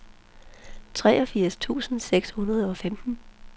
treogfirs tusind seks hundrede og femten